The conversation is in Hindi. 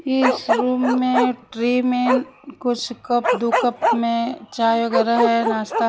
इस रूम में ट्रे में कुछ कप दो कप में चाय वगैरा हैं नाश्ता--